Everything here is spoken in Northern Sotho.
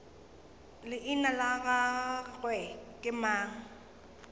leina la gagwe ke mang